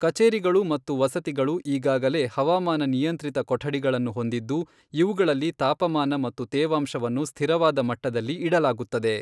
ಕಚೇರಿಗಳು ಮತ್ತು ವಸತಿಗಳು ಈಗಾಗಲೇ ಹವಾಮಾನ ನಿಯಂತ್ರಿತ ಕೊಠಡಿಗಳನ್ನು ಹೊಂದಿದ್ದು, ಇವುಗಳಲ್ಲಿ ತಾಪಮಾನ ಮತ್ತು ತೇವಾಂಶವನ್ನು ಸ್ಥಿರವಾದ ಮಟ್ಟದಲ್ಲಿ ಇಡಲಾಗುತ್ತದೆ.